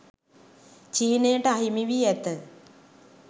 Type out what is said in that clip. චීනයට අහිමි වී ඇත